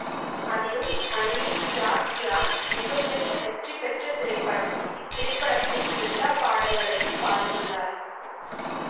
அதிலும் மைனே பியார் க்யா மிக பெரிய வெற்றி பெற்ற திரைப்படம் இத்திரைப்படத்தில் எல்லா பாடல்களையும் பாடியுள்ளார்